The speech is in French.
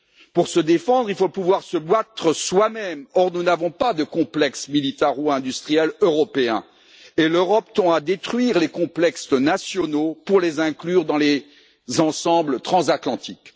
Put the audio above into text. Pour se défendre, il faut pouvoir se battre soi même, or nous n'avons pas de complexe militaro industriel européen, et l'Europe tend à détruire les complexes nationaux pour les inclure dans les ensembles transatlantiques.